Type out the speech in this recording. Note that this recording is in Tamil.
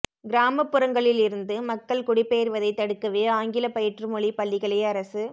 கிராமப்புறங்களிலிருந்து மக்கள் குடிபெயர்வதைத் தடுக்கவே ஆங்கில பயிற்று மொழிப் பள்ளிகளை அரசு